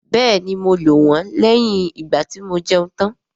Bẹ́ẹ̀ni, mo lò wọ́n lẹ́yìn ìgbàtí mo jẹun tán